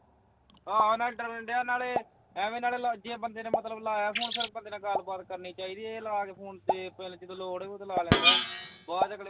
ਆਹੋ ਡਰਨ ਡਆ ਨਾਲੇ ਐਵੇਂ ਨਾਲੇ ਜੇ ਬੰਦੇ ਨੇ ਲਾਇਆ phone ਮਤਲਬ ਬੰਦੇ ਨਾਲ ਗੱਲਬਾਤ ਕਰਨੀ ਚਾਹੀਦੀ ਹੈ ਇਹ ਲਾਕੇ phone ਜਦੋਂ ਲੋੜ ਹੋਵੇ ਓਦੋਂ ਲਗਾ ਦਿੰਦਾ ਹੈ ਬਾਗ ਵਿਚ